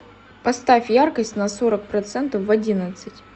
поставь яркость на сорок процентов в одиннадцать